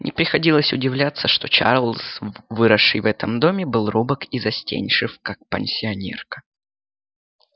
не приходилось удивляться что чарлз выросший в этом доме был робок и застенчив как пансионерка